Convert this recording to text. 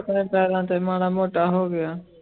ਪੈਰਾਂ ਤੇ ਮਾੜਾ ਮੋਟਾ ਹੋ ਗਿਆ